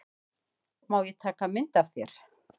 Má ég taka mynd af þér?